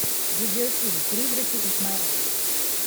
видеофильм призраки исмаэля